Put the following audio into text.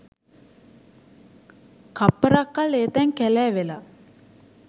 කප්පරක් කල් ඒ තැන් කැලෑ වෙලා